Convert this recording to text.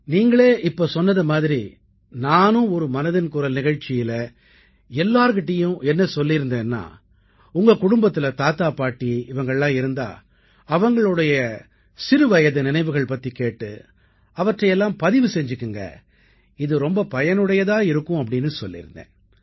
நீங்களே இப்போது கூறியதைப் போல நானும் ஒரு மனதின் குரல் நிகழ்ச்சியில் அனைவரிடத்திலும் என்ன கூறியிருந்தேன் என்றால் உங்கள் குடும்பத்தில் தாத்தா பாட்டி ஆகியோர் இருந்தால் அவர்களின் சிறுபிராய நினைவுகள் பற்றிக் கேட்டு அவற்றைப் பதிவு செய்து கொள்ளுங்கள் இது மிகவும் பயனுடையதாக இருக்கும் என்று கூறியிருந்தேன்